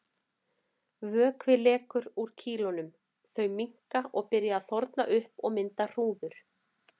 Vökvi lekur úr kýlunum, þau minnka og byrja að þorna upp og mynda hrúður.